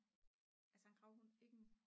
altså en gravhund ikke en